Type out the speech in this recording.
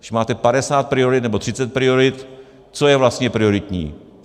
Když máte 50 priorit nebo 30 priorit, co je vlastně prioritní?